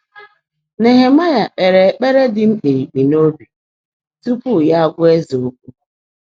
Néhẹ̀máị́à kpeèrè ékpèré dị́ mkpìríkpi n’óbi túpú yá ágwá éze ókwụ́